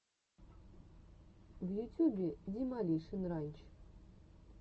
в ютюбе демолишен ранч